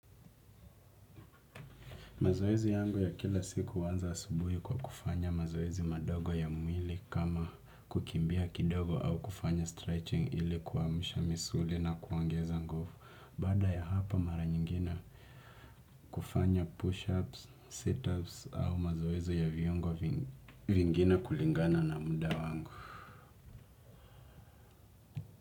Mazoezi yangu ya kila siku huanza asubuhi kwa kufanya mazoezi madogo ya mwili kama kukimbia kidogo au kufanya stretching ili kuamsha misuli na kuongeza nguvu. Baada ya hapo mara nyingine kufanya push-ups, sit-ups au mazoezi ya viungo vingine kulingana na muda wangu.